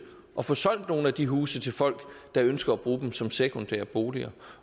at få solgt nogle af de huse til folk der ønsker at bruge dem som sekundære boliger